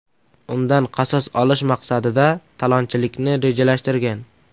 undan qasos olish maqsadida talonchilikni rejalashtirgan.